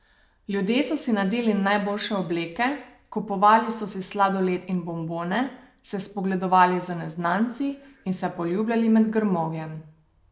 Ljudje so si nadeli najboljše obleke, kupovali so si sladoled in bombone, se spogledovali z neznanci in se poljubljali med grmovjem.